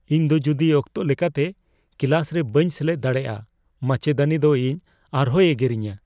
ᱤᱧ ᱫᱚ ᱡᱩᱫᱤ ᱚᱠᱛᱚ ᱞᱮᱠᱟᱛᱮ ᱠᱞᱟᱥ ᱨᱮ ᱵᱟᱹᱧ ᱥᱮᱞᱮᱫ ᱫᱟᱲᱮᱭᱟᱜᱼᱟ, ᱢᱟᱪᱮᱫᱟᱹᱱᱤ ᱫᱚ ᱤᱧ ᱟᱨᱦᱚᱸᱭ ᱮᱜᱮᱨᱤᱧᱟ ᱾